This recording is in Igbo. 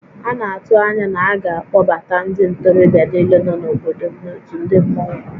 A na-atụ anya na a ga-akpọbata ndị ntorobịa niile nọ n'obodo m n'òtù ndị mmọnwu